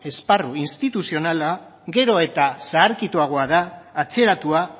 esparru instituzionala gero eta zaharkitukoagoa da atzeratua